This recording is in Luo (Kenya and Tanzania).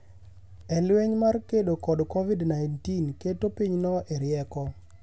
e lweny mar kedo kod Covid-19 keto pinyno e rieko.